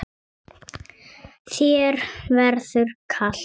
Þér verður kalt